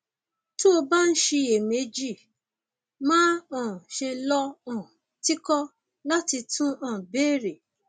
tó o bá ń ṣiyèméjì má um ṣe lọ um tìkọ láti tún um béèrè